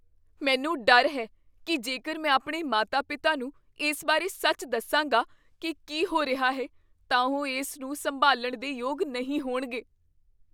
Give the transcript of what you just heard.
ਮੈਨੂੰ ਡਰ ਹੈ ਕੀ ਜੇਕਰ ਮੈਂ ਆਪਣੇ ਮਾਤਾ ਪਿਤਾ ਨੂੰ ਇਸ ਬਾਰੇ ਸੱਚ ਦੱਸਾਂਗਾ ਕੀ ਕੀ ਹੋ ਰਿਹਾ ਹੈ, ਤਾਂ ਉਹ ਇਸ ਨੂੰ ਸੰਭਾਲਣ ਦੇ ਯੋਗ ਨਹੀਂ ਹੋਣਗੇ